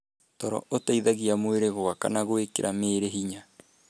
Toro ũteithagia mwĩrĩ gwaka na gwĩkĩra mĩĩrĩ hinya.